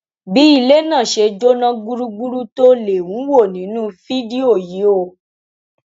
bí ilé náà ṣe jóná gbúgbúrú tó lè ń wó nínú fídíò yìí o